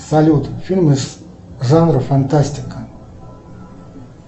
салют фильмы жанра фантастика